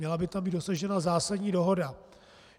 Měla by tam být dosažena zásadní dohoda.